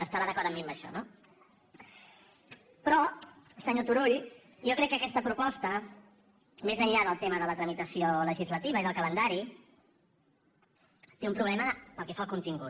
estarà d’acord amb mi en això no però senyor turull jo crec que aquesta proposta més enllà del tema de la tramitació legislativa i del calendari té un problema pel que fa al contingut